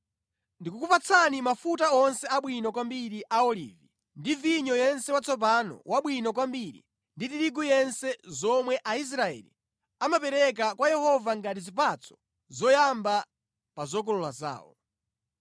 “Ndikukupatsani mafuta onse abwino kwambiri a olivi ndi vinyo yense watsopano wabwino kwambiri ndi tirigu yense zomwe Aisraeli amapereka kwa Yehova ngati zipatso zoyamba pa zokolola zawo.